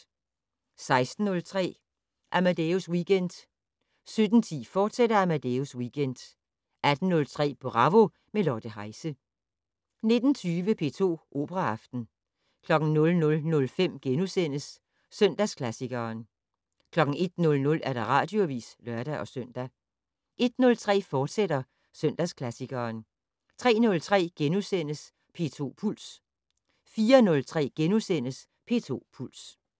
16:03: Amadeus Weekend 17:10: Amadeus Weekend, fortsat 18:03: Bravo - med Lotte Heise 19:20: P2 Operaaften 00:05: Søndagsklassikeren * 01:00: Radioavis (lør-søn) 01:03: Søndagsklassikeren, fortsat 03:03: P2 Puls * 04:03: P2 Puls *